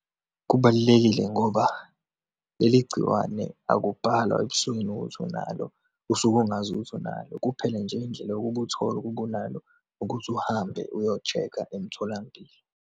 Kubalulekile ngoba leli gciwane akubhalwa ebusweni ukuthi unalo, usuke ungazi ukuthi unalo, kuphela nje indlela yokuba uthole ukuba unalo, ukuthi uhambe uyo-check-a emtholampilo.